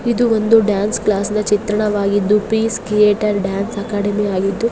ಇದು ಒಂದು dance class ನ ಚಿತ್ರಣವಾಗಿದ್ದು ಪೀಸ್ ಕ್ರಿಯೇಟರ್ಸ್ ಡಾನ್ಸ್ ಅಕಾಡೆಮಿ ಆಗಿದ್ದು--